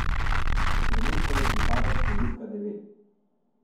Trenutno mu pripada številka devet.